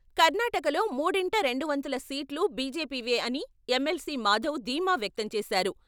కర్ణాటకలో మూడింట రెండు వంతుల సీట్లు బీజేపీవే అని ఎమ్మెల్సీ మాధవ్ ధీమా వ్యక్తం చేశారు.